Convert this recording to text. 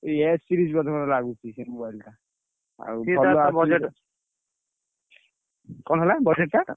S series ବୋଧେ ଲାଗୁଛି ସେ mobile ଟା। ଆଉ କଣ ହେଲା budget ଟା?